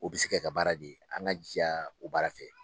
U bɛ se kɛ ka baara de ye an k'an jija o baara fɛ